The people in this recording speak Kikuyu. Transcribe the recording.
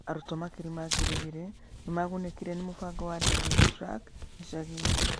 Arutwo makĩria ma ngiri igĩrĩ nĩ maagunĩkire nĩ mũbango wa Digi Truck gĩcagi-inĩ.